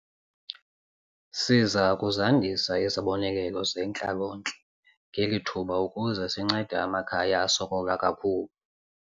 Siza kuzandisa izibonelelo zentlalontle ngeli thuba ukuze sincede amakhaya asokola kakhulu.